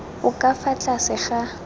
o ka fa tlase ga